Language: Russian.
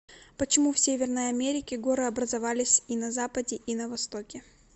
почему в северной америке горы образовались и на западе и на востоке